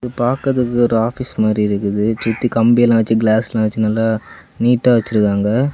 பாகதுக்கு ஒரு ஆபீஸ் மாரி இருக்குது சுத்தி கம்பி எல்லாம் வச்சு கிளாஸ் எல்லாம் வச்சு நல்லா நீட்டா வச்சிருக்காங்க.